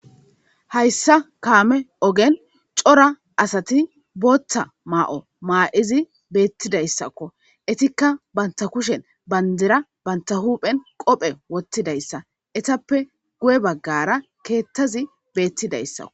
Hayssa kaame ogen cora asati booththa maa'o maa'idi beettidayssakko etikka bantta kushen bandira banta huuphen qope wottidayssa etappe gu'e baggara keettazi beettidayssakko